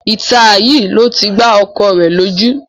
Ìta yìí ló ti gbá ọkọ rẹ lójú